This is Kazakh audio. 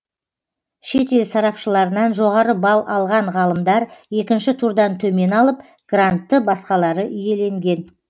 шет ел сарапшыларынан жоғары балл алған ғалымдар екінші турдан төмен алып грантты басқалары иеленген